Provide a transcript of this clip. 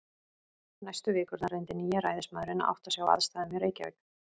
Næstu vikurnar reyndi nýi ræðismaðurinn að átta sig á aðstæðum í Reykjavík.